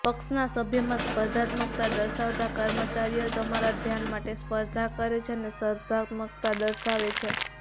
પક્ષના સભ્યોમાં સ્પર્ધાત્મકતા દર્શાવતા કર્મચારીઓ તમારા ધ્યાન માટે સ્પર્ધા કરે છે અને સ્પર્ધાત્મકતા દર્શાવે છે